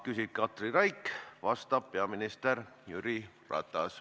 Küsib Katri Raik, vastab peaminister Jüri Ratas.